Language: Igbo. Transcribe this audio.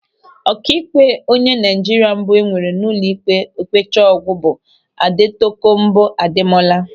Ọkaikpe onye Naịjirịa mbụ enwere ụlọikpe okpecha ọgwụ bụ Adetokonbo Ademola.